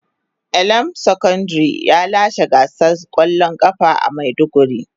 Elam secondary ya lashe gasar kwallon kafa a maiduguri.